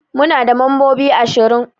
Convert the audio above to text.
Muna da mambobi ashirin